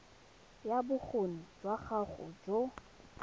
ya bokgoni jwa gago jo